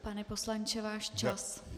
Pane poslanče, váš čas.